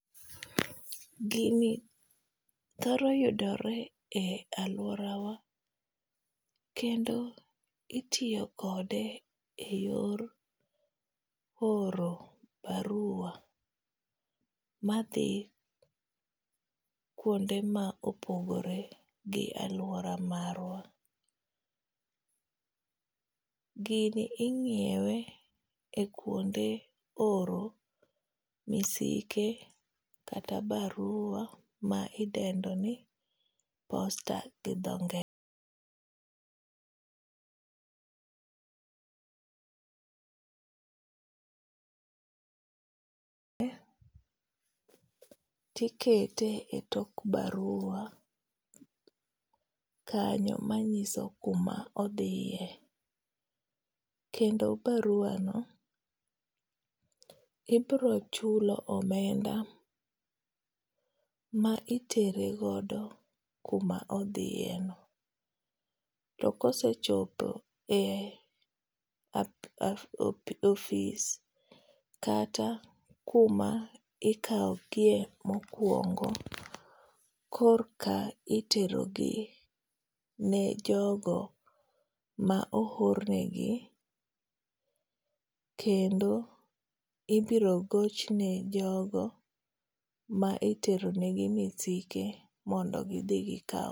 Gini thoro yudore e alworawa kendo itiyo kode e yor oro barua ma dhi kuonde ma opogre gi alwora marwa. Gini inyiewe e kuonde oro misike kata barua ma idendo ni posta gi dho ngére. To ikete e tok barua kanyo manyiso kuma odhie. Kendo barua no, ibiro chulo omenda ma itere godo kuma odhie no. To kosechopo e office kata kuma ikao gie mokwongo. Korka iterogi ne jogo ma oornegi, kendo ibiro gochne jogo ma itero negi misike, mondo gidhi gikau.